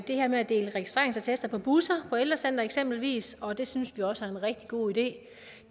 det her med at dele registreringsattester på busser på ældrecentre eksempelvis og det synes vi også er en rigtig god idé